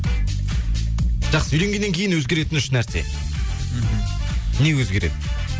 жақсы үйленгеннен кейін өзгеретін үш нәрсе мхм не өзгереді